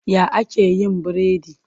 Ya ake yin biredi?